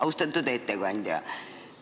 Austatud ettekandja!